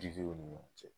Jiw ni ɲɔgɔn cɛ